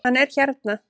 Hann er hérna